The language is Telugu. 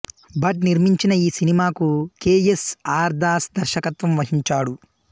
భట్ నిర్మించిన ఈ సినిమాకు కె ఎస్ ఆర్ దాస్ దర్శకత్వంవహించాడు